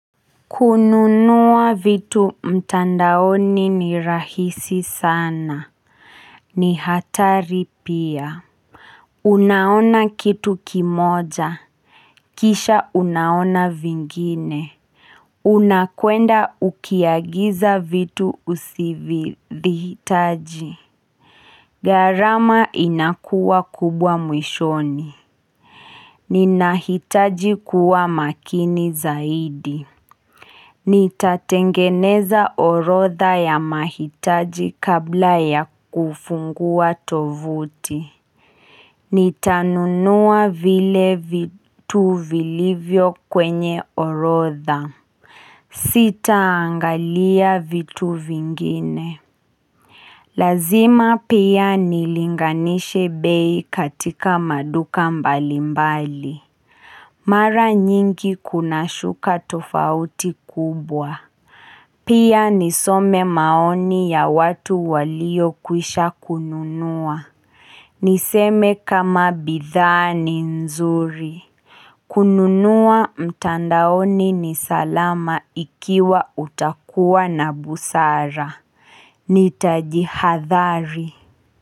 Kununua vitu mtandaoni ni rahisi sana ni hatari pia, unaona kitu kimoja Kisha unaona vingine, unakwenda ukiagiza vitu usivihitaji gharama inakuwa kubwa mwishoni Ninahitaji kuwa makini zaidi Nitatengeneza orodha ya mahitaji kabla ya kufungua tovuti Nitanunua vile vitu vilivyo kwenye orodha Sitaangalia vitu vingine Lazima pia nilinganishe bei katika maduka mbalimbali Mara nyingi kunashuka tofauti kubwa Pia nisome maoni ya watu waliyokwisha kununua. Niseme kama bidhaa ni nzuri. Kununua mtandaoni ni salama ikiwa utakuwa na busara. Nitajihadhari.